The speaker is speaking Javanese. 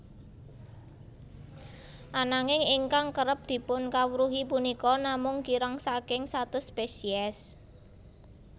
Ananging ingkang kerep dipunkawruhi punika namung kirang saking satus spesies